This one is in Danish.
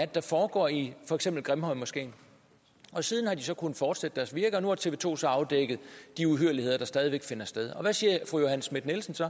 der foregår i for eksempel grimhøjmoskeen siden har de kunnet fortsætte deres virke og nu har tv to så afdækket de uhyrligheder der stadig væk finder sted og hvad siger fru johanne schmidt nielsen så